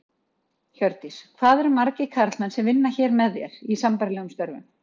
Hjördís: Hvað eru margir karlmenn sem vinna hér með þér, í sambærilegum störfum?